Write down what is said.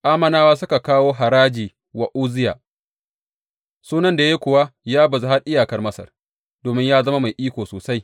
Ammonawa suka kawo haraji wa Uzziya, sunan da ya yi kuwa ya bazu har iyakar Masar, domin ya zama mai iko sosai.